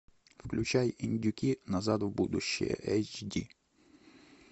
включай индюки назад в будущее эйч ди